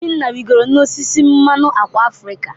Obinna rịgoro n'osisi mmanụ ákwà Afrịka.